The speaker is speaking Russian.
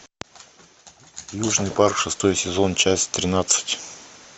южный парк шестой сезон часть тринадцать